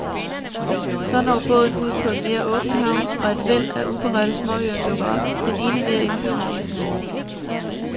Så når båden ud på mere åbent hav, og et væld af uberørte småøer dukker op, den ene mere indbydende end den anden.